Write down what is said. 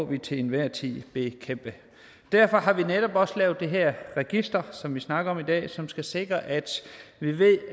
vi til enhver tid bekæmpe derfor har vi netop også lavet det her register som vi snakker om i dag og som skal sikre at vi ved